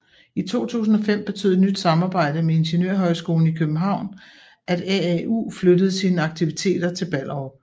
I 2005 betød et nyt samarbejde med Ingeniørhøjskolen i København at AAU flyttede sine aktiviteter til Ballerup